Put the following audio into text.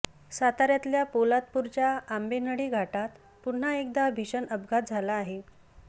साताऱ्यातल्या पोलादपुरच्या आंबेनळी घाटात पुन्हा एकदा भीषण अपघात झाला आहे